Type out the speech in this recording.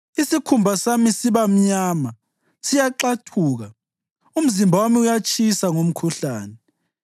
Isikhumba sami siba mnyama, siyaxathuka; umzimba wami uyatshisa ngomkhuhlane.